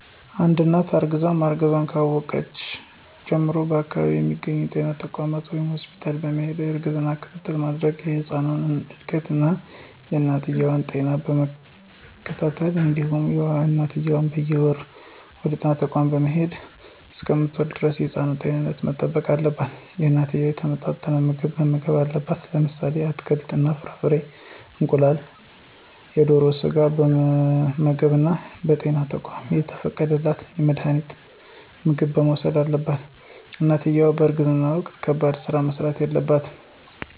አንድት እናት እርግዛ ማርገዟን ካወቀች ጀምሮ በአከባቢው በሚገኙ ጤና ተቋማት ወይም ሆስፒታል በመሄድ የእርግዝና ክትትል በማድረግ የህፃኑን እድገት እና የእናትየዋ ጤና በመከታተል እንዲሁም እናትየዋም በየወሩ ወደጤና ተቋም በመሄድ እሰከምትወልድ ደረስ የህፃኑን ጤንነት መጠበቅ አለባት። እናትየዋ የተመጣጠነ ምግብ መመገብ አለባት። ለምሳሌ አትክልት እና ፍራፍሬ፣ እንቁላል፣ የደሮ ስጋ በመመገብ እና በጤና ተቋማት የተፈቀደላት መድሀኒትና ምግብ መውሰድ አለባት። እናትየዋ በእርግዝና ወቅት ከባድ ስራዎች መስራት የለባትም።